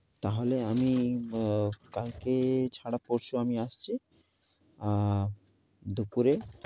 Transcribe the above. তাহলে আমি কালকে ছাড়া পরশু আমি আসছি, অ্যা দুপুরে।